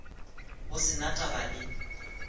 go se na taba le